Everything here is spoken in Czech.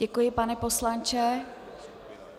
Děkuji, pane poslanče.